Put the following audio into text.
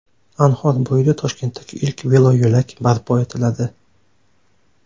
Anhor bo‘yida Toshkentdagi ilk veloyo‘lak barpo etiladi.